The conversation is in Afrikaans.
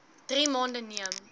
drie maande neem